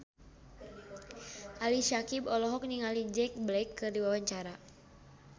Ali Syakieb olohok ningali Jack Black keur diwawancara